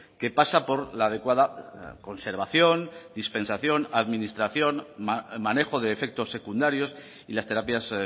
que pasa por la adecuada conservación dispensación administración manejo de efectos secundarios y las terapias